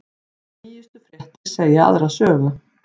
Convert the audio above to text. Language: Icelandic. Nýjustu fréttir segja aðra sögu